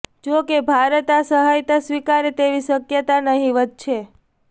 જોકે ભારત આ સહાયતા સ્વિકારે તેવી શક્યતા નહીવત છે